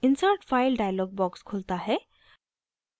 insert file dialog box खुलता है